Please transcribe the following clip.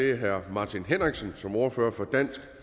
meget